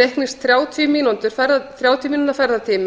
reiknist þrjátíu mínútna ferðatími